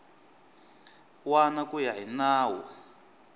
wana ku ya hi nawu